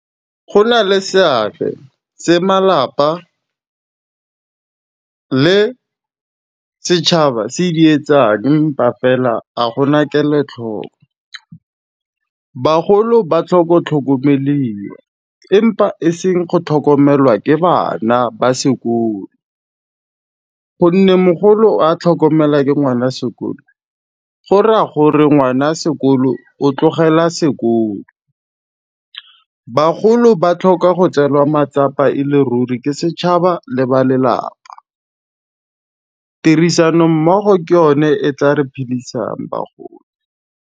Go na le seabe se malapa le setšhaba se di etsang empa fela a gona kelotlhoko. Bagolo ba tlhoko tlhokomeliwa di empa e seng go tlhokomelwa ke bana ba sekolo, gonne mogolo a tlhokomelwa ke ngwana sekolo, go raya gore ngwana sekolo o tlogela sekolo. Bagolo ba tlhoka go tseelwa matsapa e le ruri ke setšhaba le ba lelapa, tirisanommogo ke yone e tla re phidisang bagolo.